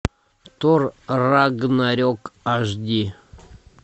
тор рагнарек аш ди